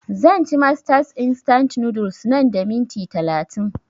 Zan ci masters instant noodles nan da minti talatin